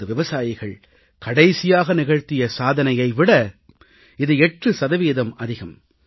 நமது விவசாயிகள் கடைசியாக நிகழ்த்திய சாதனையை விட இது 8 சதவீதம் அதிகம்